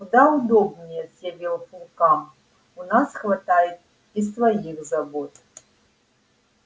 куда удобнее съязвил фулкам у нас хватает и своих забот